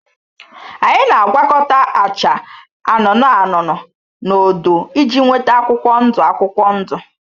Anyị na-agwakọta acha anụnụ anụnụ na odo iji nweta akwụkwọ ndụ akwụkwọ ndụ